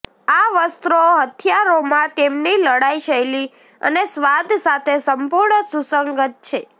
આ વસ્ત્રો હથિયારોમાં તેમની લડાઇ શૈલી અને સ્વાદ સાથે સંપૂર્ણ સુસંગત છે